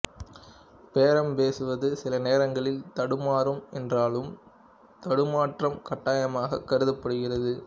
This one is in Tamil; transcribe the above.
பேரம் பேசுவது சில நேரங்களில் தடுமாறும் என்றாலும் தடுமாற்றம் கட்டாயமாக கருதப்படுகிறது